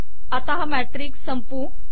आता हा मॅट्रिक्स संपवू